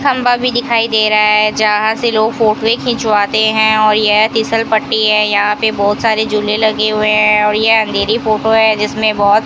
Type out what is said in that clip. खंभा भी दिखाई दे रहा है जहां से लोग फोटो खिंचवाते हैं और यह फिसलपट्टी है यहां पे बहोत सारे झूले लगे हुए हैं और यह अंधेरी फोटो है जिसमें बहोत --